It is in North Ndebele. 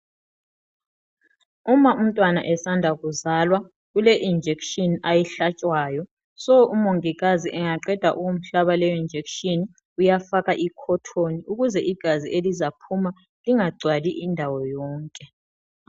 Uma umntwana esanda kuzalwa ule injekisheni ayihlatshwayo. Umongikazi engaqeda ukumhlaba leyo injekisheni uyafaka i-cotton ukuze igazi elizaphuma lingagcwali indawo yonke.